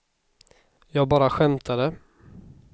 jag bara skämtade